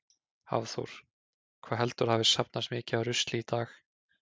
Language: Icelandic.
Hafþór: Hvað heldurðu að hafi safnast mikið af rusli í dag?